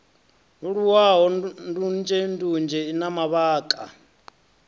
leluwaho ndunzhendunzhe i na mavhaka